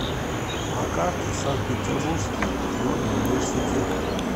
на карте санкт петербургский горный университет